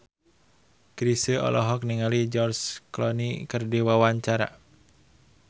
Chrisye olohok ningali George Clooney keur diwawancara